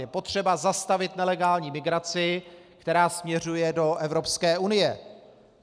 Je potřeba zastavit nelegální migraci, která směřuje do Evropské unie.